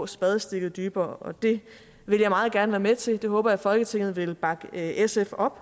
spadestik dybere og det vil jeg meget gerne være med til jeg håber at folketinget vil bakke sf op